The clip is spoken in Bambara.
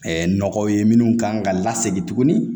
nɔgɔw ye minnu kan ka lasegin tugun